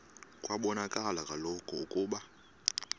kwabonakala kaloku ukuba